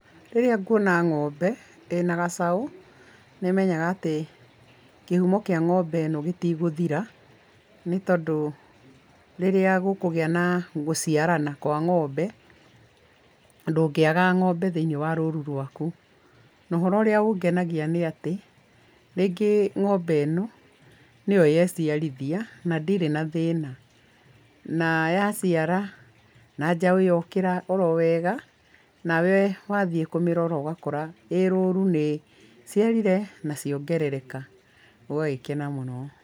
Rĩrĩa nguona ng’ombe ĩna gacaũ, nĩmenyaga atĩ kĩhũmo kĩa ng’ombe ĩno gĩtikũthira nĩ tondũ rĩrĩa gũkũgia na gũciarana kwa ng’ombe, ndũngĩaga ng’ombe thĩiniĩ wa rũrũ rwaku na ũhoro ũrĩa ũngenagia nĩ atĩ rĩngĩ ng’ombe ĩno nĩyo yeciarithia na ndĩrĩ na thĩna, na yaciara na njaũ yokĩra owega, nawe wagĩthiĩ kũmĩrora ũgagĩkora e rũrũ nĩ iciarire na ciongereka ũgagĩkena mũno.